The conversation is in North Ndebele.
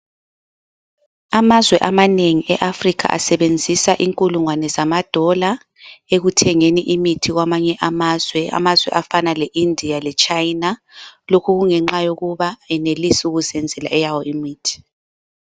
Amazwe amanengi eAfrica asebenzisa inkulungwane zamadola, ekuthengeni imithi kwamanye amazwe. Amazwe afana leIndia leChina. Lokhu kungenxa yokuba kenelisi ukuzenzela eyawo imithi.